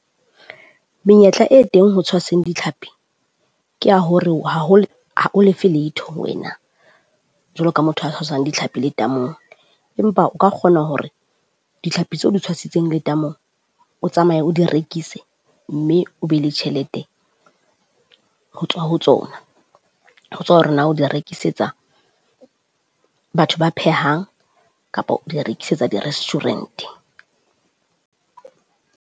Menyetla e teng ho tshwaseng ditlhapi ke ya hore ha o lefe letho wena jwalo ka motho a tshwasang dihlapi letamong. Empa o ka kgona hore ditlhapi tse o di tshwasitseng letamong o tsamaye o di rekise mme o be le tjhelete ho tswa ho tsona. Ho tswa hore na o di rekisetsa batho ba phehang kapa o di rekisetsa di-restaurant.